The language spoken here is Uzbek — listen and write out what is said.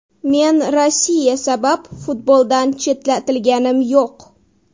Men Rossiya sabab futboldan chetlatilganim yo‘q.